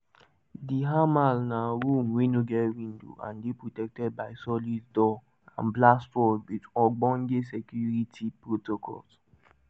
di hamal na room wey no get window and dey protected by solid door and blast walls wit ogbonge security protocols.